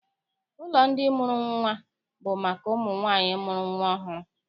Ụlọ ndị mụrụ nnwa bụ maka ụmụ nwaanyị mụrụ nnwa ọhụrụ.